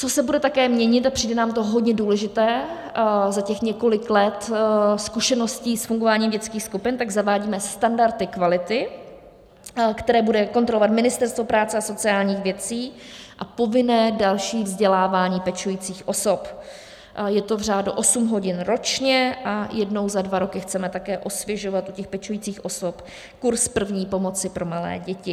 Co se bude také měnit, a přijde nám to hodně důležité za těch několik let zkušeností s fungováním dětských skupin, tak zavádíme standardy kvality, které bude kontrolovat Ministerstvo práce a sociálních věcí, a povinné další vzdělávání pečujících osob, je to v řádu osm hodin ročně, a jednou za dva roky chceme také osvěžovat u pečujících osob kurz první pomoci pro malé děti.